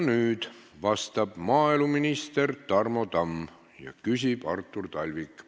Nüüd vastab maaeluminister Tarmo Tamm ja küsib Artur Talvik.